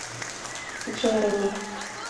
джереми